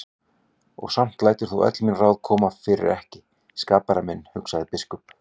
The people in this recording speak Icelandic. Og samt lætur þú öll mín ráð koma fyrir ekki, skapari minn, hugsaði biskup.